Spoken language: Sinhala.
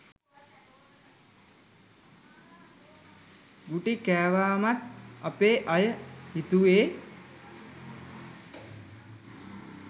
ගුටි කෑවමත් අපේ අය හිතුවෙ